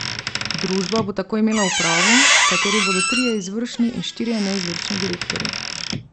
Družba bo tako imela upravo, v kateri bodo trije izvršni in štirje neizvršni direktorji.